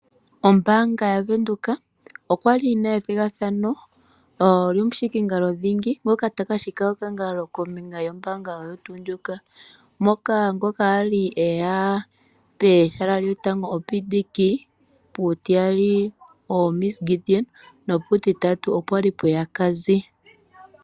Ombaanga yaVenduka okwali yina ethigathano lyomushikingalo dhingi ngoka taka shika okangalo kombinga yombaanga oyo tu ndjoka, mono ngoka ali eya pehala lyotango oPDK, puutiyali oMs Gideon nopuutitatu opwali pweya Cazzy.